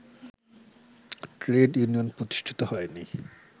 trade union প্রতিষ্ঠিত হয়নি